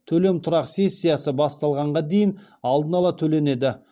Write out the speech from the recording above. төлем тұрақ сессиясы басталғанға дейін алдын ала төленеді